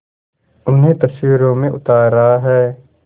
उन्हें तस्वीरों में उतार रहा है